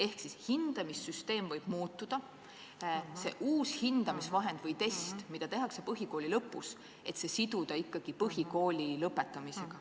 Ehk siis hindamissüsteem võib muutuda, aga see uus hindamisvahend või test, mis tehakse põhikooli lõpus, tuleks ikkagi siduda põhikooli lõpetamisega.